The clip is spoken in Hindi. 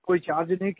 कोइ चार्ज नहीं किया